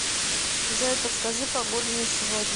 джой подскажи погоду на сегодня